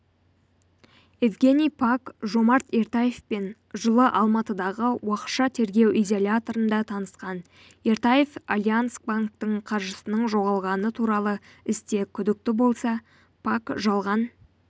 евгений пак жомарт ертаевпен жылы алматыдағы уақытша тергеу изоляторында танысқан ертаев альянск банкінің қаржысының жоғалғаны туралы істе күдікті болса пак жалған